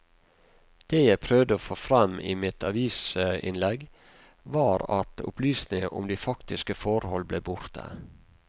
Det jeg prøvde å få frem i mitt avisinnlegg var at opplysninger om de faktiske forhold ble borte.